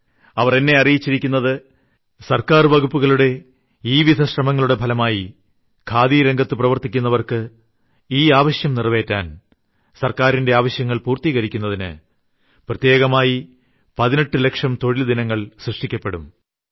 അവർ എന്നെ അറിയിച്ചിരിക്കുന്നത് സർക്കാർ വകുപ്പുകളുടെ ഈ വിധ ശ്രമങ്ങളുടെ ഫലമായി ഖാദി രംഗത്ത് പ്രവർത്തിക്കുന്നവർക്ക് ഈ ആവശ്യം നിറവേറ്റാൻ സർക്കാരിന്റെ ആവശ്യങ്ങൾ പൂർത്തീകരിക്കുന്നതിന് പ്രത്യേകമായി 18 ലക്ഷം തൊഴിൽ ദിനങ്ങൾ സൃഷ്ടിക്കപ്പെടുമെന്നാണ്